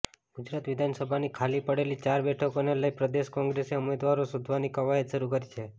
ગુજરાત વિધાનસભાની ખાલી પડેલી ચાર બેઠકોને લઈ પ્રદેશ કોંગ્રેસે ઉમેદવારો શોધવાની કવાયત્ શરૂ કરી છે